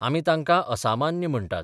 आमी तांकां असामान्य म्हणटात.